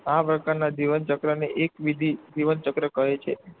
આ પ્રકારના જીવનચક્રને એકવિધ જીવનચક્ર કહે છે.